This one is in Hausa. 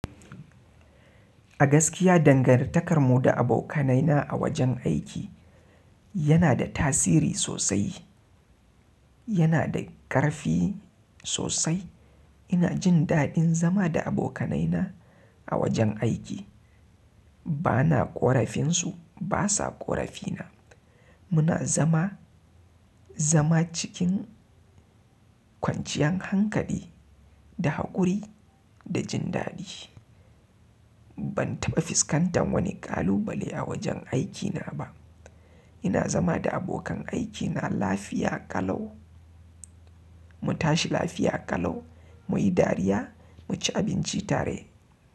A gaskiya dangantakar mu da abokanaina a wajen aiki yana da tasiri sosai. Yana da ƙarfi sosai. Ina jin daɗin zama da abokanaina a wajen aiki. Bana ƙorafinsu, basa ƙorafina. Muna zama, zama cikin kwanciyan hankali da haƙuri da jin daɗi. Ban taɓa fuskantan wani ƙalubale a wajen aikina ba. Ina zama da abokan aikina lafiya ƙalau. Mu tashi lafiya ƙalau, muyi dariya, mu ci abinci tare.